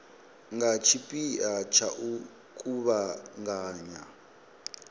nga tshipia tsha u kuvhanganya